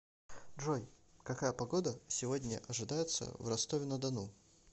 джой какая погода сегодня ожидается в ростове на дону